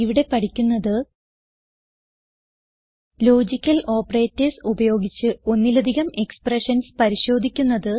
ഇവിടെ പഠിക്കുന്നത് logical operators ഉപയോഗിച്ച് ഒന്നിലധികം എക്സ്പ്രഷൻസ് പരിശോധിക്കുന്നത്